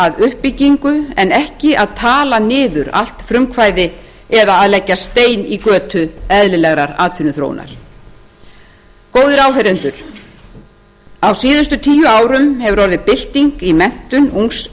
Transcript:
að uppbyggingu en ekki að tala niður allt frumkvæði eða að leggja stein í götu eðlilegrar atvinnuþróunar góðir áheyrendur á síðustu tíu árum hefur orðið bylting í menntun ungs